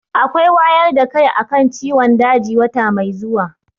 Akwai wayar da kai a kan ciwon daji wata mai zuwa.